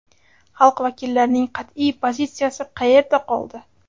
Xalq vakillarining qat’iy pozitsiyasi qayerda qoldi?